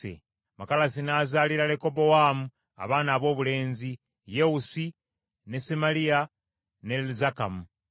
Makalasi n’azaalira Lekobowaamu abaana aboobulenzi: Yewusi, ne Semaliya ne Zakamu.